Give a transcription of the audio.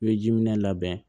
I bɛ jiminɛ labɛn